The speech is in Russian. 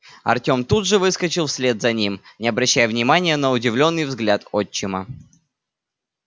артём тут же выскочил вслед за ним не обращая внимания на удивлённый взгляд отчима